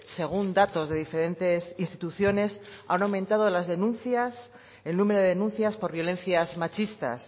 según datos de diferentes instituciones han aumentado las denuncias el número de denuncias por violencias machistas